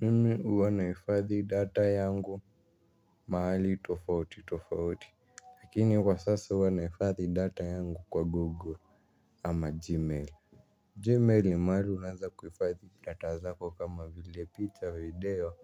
Mimi wanaifathi data yangu mahali tofauti tofauti. Lakini kwa sasa wanaifathi data yangu kwa google ama gmail Gmail ni mahali unaueza kuhifadhi data zako kama vile picha, video